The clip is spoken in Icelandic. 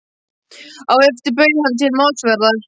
Á eftir bauð hann til málsverðar.